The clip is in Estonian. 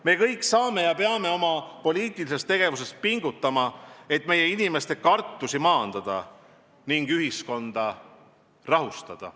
Me kõik peame oma poliitilises tegevuses pingutama, et meie inimeste kartusi maandada ning ühiskonda rahustada.